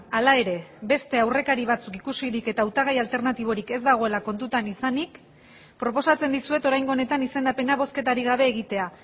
hala ere beste aurrekari batzuk ikusirik eta hautagai alternatiborik ez dagoela kontutan izanik proposatzen dizuet oraingo honetan izendapena bozketarik gabe egitea